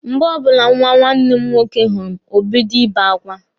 Mgbe ọbụla nwa nwanne m nwoke hụrụ m, o bido Ị be akwa.